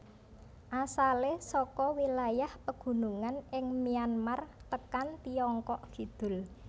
Asalé saka wilayah pagunungan ing Myanmar tekan Tiongkok kidul